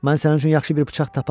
Mən sənin üçün yaxşı bir bıçaq taparam.